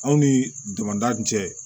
Anw ni damada cɛ